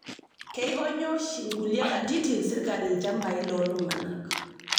Keikonyaa oshi nkulie katitin sirkali lchambai loltung'ana